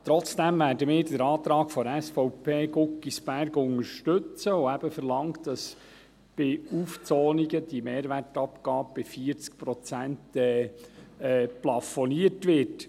Trotzdem werden wir den Antrag SVP Guggisberg unterstützen, welcher verlangt, dass bei Aufzonungen die Mehrwertabgabe bei 40 Prozent plafoniert wird.